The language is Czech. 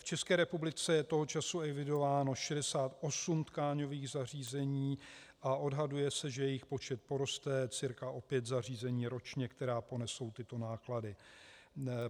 V České republice je toho času evidováno 68 tkáňových zařízení a odhaduje se, že jejich počet poroste cca o pět zařízení ročně, která ponesou tyto náklady.